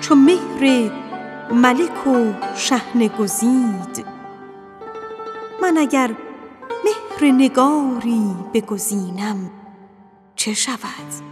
چو مهر ملک و شحنه گزید من اگر مهر نگاری بگزینم چه شود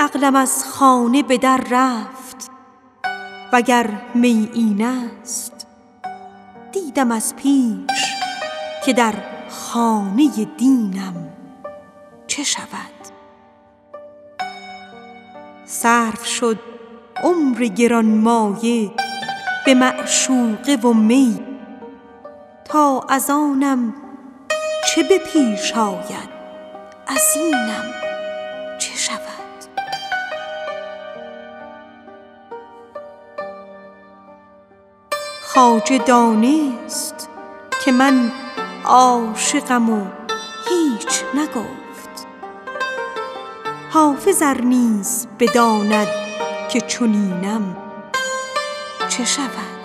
عقلم از خانه به در رفت وگر می این است دیدم از پیش که در خانه دینم چه شود صرف شد عمر گرانمایه به معشوقه و می تا از آنم چه به پیش آید از اینم چه شود خواجه دانست که من عاشقم و هیچ نگفت حافظ ار نیز بداند که چنینم چه شود